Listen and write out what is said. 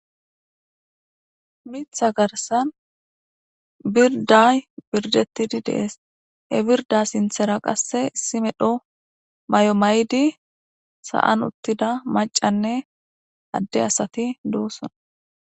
Mitha garsan birday birdettidi dees he birda sinthera qasse issi medho may7o maydi sa7an uttida macanne adde asati duussona.